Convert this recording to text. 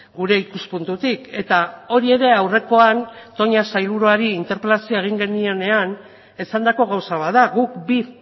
gure ikuspuntutik eta hori ere aurrekoan toña sailburuari interpelazioa egin genionean esandako gauza bat da guk bi